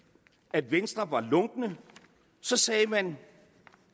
at venstre var lunkne så sagde man